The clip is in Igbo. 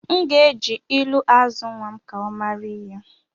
M ga-eji ilu azụ nnwa m ka ọ mara ihe